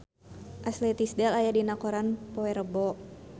Ashley Tisdale aya dina koran poe Rebo